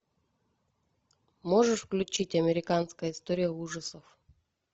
можешь включить американская история ужасов